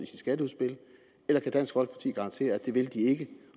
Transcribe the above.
sit skatteudspil eller kan dansk folkeparti garantere at det vil de ikke